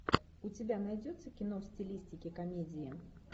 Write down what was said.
у тебя найдется кино в стилистике комедии